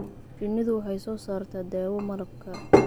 Shinnidu waxay soo saartaa dawo malabka.